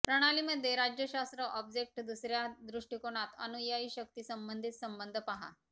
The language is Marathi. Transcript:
प्रणाली मध्ये राज्यशास्त्र ऑब्जेक्ट दुसऱ्या दृष्टीकोनात अनुयायी शक्ती संबंधित संबंध पहा